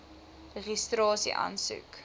registrasieaansoek